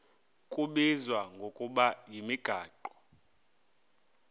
kubizwa ngokuba yimigaqo